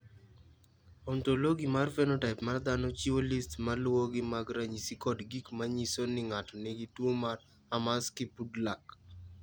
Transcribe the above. "Ontologi mar phenotaip mar dhano chiwo list ma luwogi mag ranyisi kod gik ma nyiso ni ng’ato nigi tuwo mar Hermansky Pudlak."